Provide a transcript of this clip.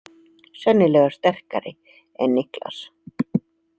Sennilega sterkari en Niklas.